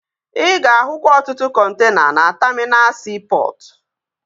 Ị ga-ahụkwa ọtụtụ kọntena na taminal siipọtụ